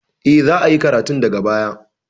E, za a yi karatun daga baya.